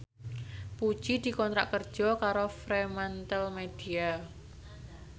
Puji dikontrak kerja karo Fremantlemedia